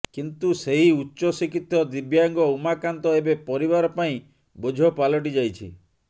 କିନ୍ତୁ ସେହି ଉଚ୍ଚ ଶିକ୍ଷିତ ଦିବ୍ୟାଙ୍ଗ ଉମାକାନ୍ତ ଏବେ ପରିବାର ପାଇଁ ବୋଝ ପାଲିଟିଯାଇଛି